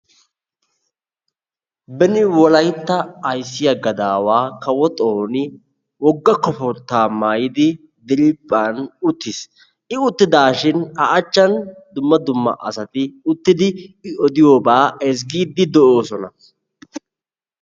Beni wolaytta ayssiya gadaawa Kawo Xooni wogga koboortta maayidi diriphphan uttiis. I uttidashin A achchan dumma dumma asati uttidi i odiyobaa ezggidi de'oosona.